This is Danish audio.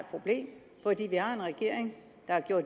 et vi har en regering